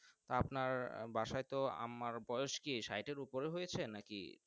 আপনার বাসায় তো আম্মার বয়েস কি স্যাটএর ওপারে হয়েছে নাকি।